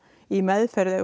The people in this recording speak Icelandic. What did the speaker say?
í meðferð við